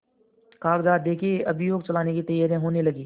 कागजात देखें अभियोग चलाने की तैयारियॉँ होने लगीं